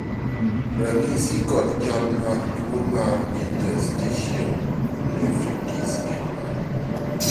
ranyisi kod chal mag tuo mar interstitial nephritis gin mage?